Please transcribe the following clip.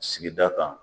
Sigida kan